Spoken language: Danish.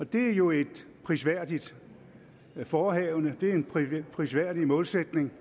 det er jo et prisværdigt forehavende det er en prisværdig målsætning